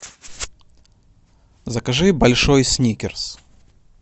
закажи большой сникерс